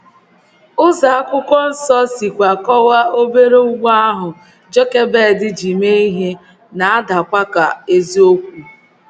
Ụzọ akwụkwọ nsọ sikwa kọwaa obere ụgbọ ahụ Jokebed ji mee ihe na - adakwa ka eziokwu.